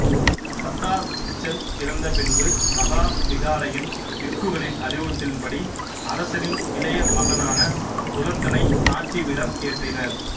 சத்தா திச்சன் இறந்த பின்பு மகா விகாரையின் பிக்குகளின் அறிவுறுத்தலின் படி அரசனின் இளைய மகனான துலத்தனை ஆட்சிபீடம் ஏற்றினர்